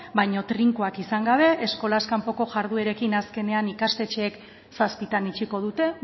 baina trinkoak izan gabe eskolaz kanpoko jarduerekin azkenean ikastetxeek zazpitan itxiko dute